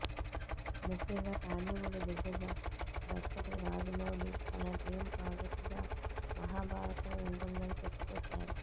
ముఖ్యంగా టాలీవుడ్ దిగ్గజ దర్శకుడు రాజమౌళి తన డ్రీం ప్రాజెక్ట్ గా మహాభారతం ఉంటుందని చెప్పుకొచ్చారు